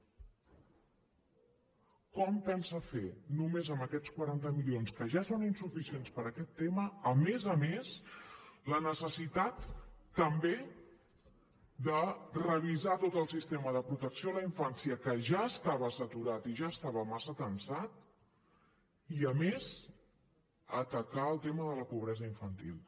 com ho pensa fer només amb aquests quaranta milions que ja són insuficients per a aquest tema a més a més la necessitat també de revisar tot el sistema de protecció a la infància que ja estava saturat i ja estava massa tensat i a més atacar el tema de la pobresa infantil